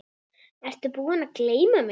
Ertu búinn að gleyma mig?